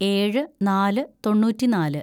ഏഴ് നാല് തൊണ്ണൂറ്റിനാല്‌